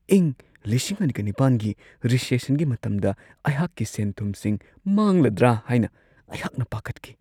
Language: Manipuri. ꯏꯪ ꯲꯰꯰꯸ꯒꯤ ꯔꯤꯁꯦꯁꯟꯒꯤ ꯃꯇꯝꯗ ꯑꯩꯍꯥꯛꯀꯤ ꯁꯦꯟ-ꯊꯨꯝꯁꯤꯡ ꯃꯥꯡꯂꯗ꯭ꯔꯥ ꯍꯥꯏꯅ ꯑꯩꯍꯥꯛꯅ ꯄꯥꯈꯠꯈꯤ ꯫